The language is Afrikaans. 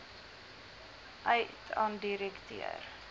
uit aan direkteur